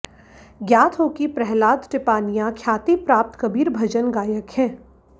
ज्ञात हो कि प्रहलाद टिपानिया ख्याति प्राप्त कबीर भजन गायक हैं